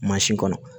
kɔnɔ